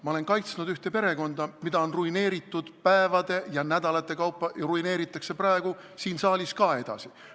Ma olen kaitsnud ühte perekonda, mida on päevade ja nädalate kaupa ruineeritud ning ruineeritakse praegu siin saalis ka edasi.